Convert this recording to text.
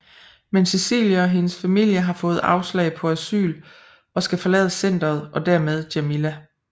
Men Cecilie og hendes familie har fået afslag på asyl og skal forlade centret og dermed Jamila